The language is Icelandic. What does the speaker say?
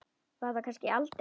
Var þar kannski aldrei?